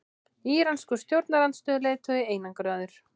Íranskur stjórnarandstöðuleiðtogi einangraður